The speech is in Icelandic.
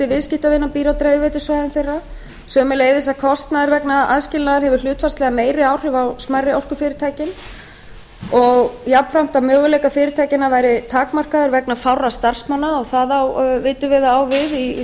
viðskiptavina býr á dreifiveitusvæðum þeirra sömuleiðis að kostnaður vegna aðskilnaðar hefur hlutfallslega meiri áhrif á smærri orkufyrirtækin og jafnframt að möguleikar fyrirtækjanna væru takmarkaðir vegna fárra starfsmanna og það vitum við að á við